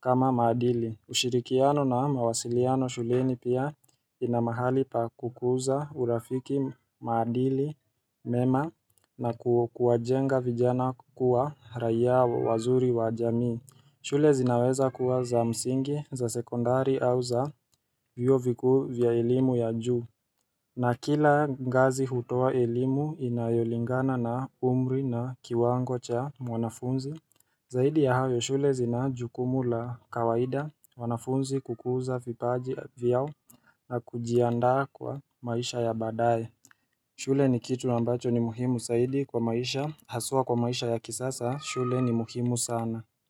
kama maadili ushirikiano na mawasiliano shuleni pia ina mahali pa kukuza urafiki maadili, mema na kuwajenga vijana kukuwa raiya wazuri wa jamii shule zinaweza kuwa za msingi, za sekondari au za vyuo vikuu vya elimu ya juu. Na kila ngazi hutoa elimu inayolingana na umri na kiwango cha mwanafunzi. Zaidi ya hayo shule zina jukumu la kawaida wanafunzi kukuza vipaji vyao na kujiandaa kwa maisha ya baadaye. Shule ni kitu ambacho ni muhimu zaidi kwa maisha, haswa kwa maisha ya kisasa shule ni muhimu sana.